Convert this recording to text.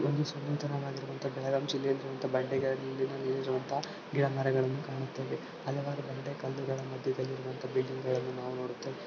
ಇದೊಂದು ಸುಂದರವಾಗಿ ಇರುವಂತಹ ಬೆಳಗಾಂ ಜಿಲ್ಲೆಯಲ್ಲಿ ಇರುವಂತ ಬಂಡೆಗಳಲ್ಲಿ ಇರುವಂತ ಗಿಡಮರಗಳನ್ನು ಕಾಣುತ್ತೇವೆ ಅಲವಾರು ಬಂಡೆ ಕಲ್ಲುಗಳ ಮಧ್ಯದಲ್ಲಿ ಇರುವಂತ ಬಿಲ್ಡಿಂಗ್ ಗಳನ್ನು ನಾವು ನೋಡುತ್ತೇವೆ.